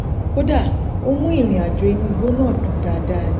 kódà ó mú ìrìnàjò inú igbó náà dùn dáadáa ni